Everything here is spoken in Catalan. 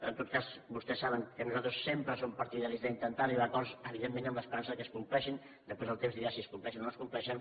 en tot cas vostès saben que nosaltres sempre som partidaris d’intentar arribar a acords evidentment amb l’esperança que es compleixin després el temps dirà si es compleixen o no es compleixen